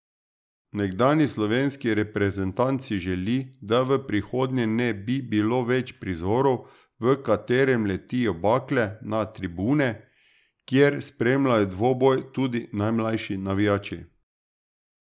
Nekdanji slovenski reprezentant si želi, da v prihodnje ne bi bilo več prizorov, v katerem letijo bakle na tribune, kjer spremljajo dvoboj tudi najmlajši navijači.